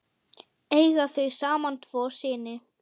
Eiga þau saman tvo syni.